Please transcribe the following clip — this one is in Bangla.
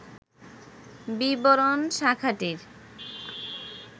বিবরণ শাখাটির